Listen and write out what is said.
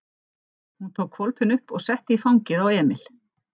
Hún tók hvolpinn upp og setti í fangið á Emil.